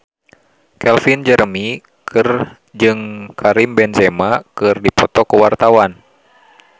Calvin Jeremy jeung Karim Benzema keur dipoto ku wartawan